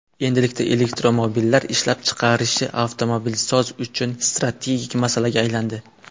Endilikda elektromobillar ishlab chiqarilishi avtomobilsozlar uchun strategik masalaga aylandi.